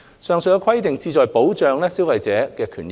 上述規定旨在保障消費者的權益。